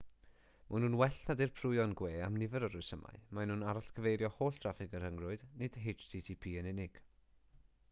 maen nhw'n well na dirprwyon gwe am nifer o resymau maen nhw'n arall-gyfeirio holl draffig y rhyngrwyd nid http yn unig